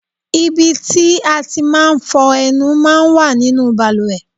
Ibi tí a ti máa ń fọ ẹnu máa ń wà nínú bàlùwẹ̀.